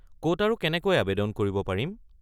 ক’ত আৰু কেনেকৈ আৱেদন কৰিব পাৰিম?